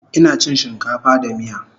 Ina chin shinkafa da miya